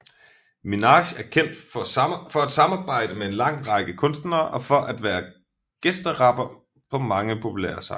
Minaj er kendt for at samarbejde med en lang række kunstnere og for at være gæsterapper på mange populære sange